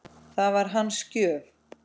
Það var hans gjöf.